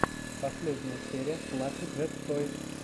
последняя серия флаффи джет тойс